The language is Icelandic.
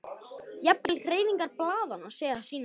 Jafnvel hreyfingar blaðanna segja sína sögu.